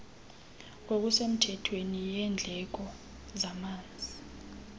ngokusemthethweni yendleko zamanzi